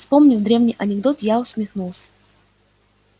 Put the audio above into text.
вспомнив древний анекдот я усмехнулся